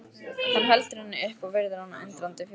Hann heldur henni upp og virðir hana undrandi fyrir sér.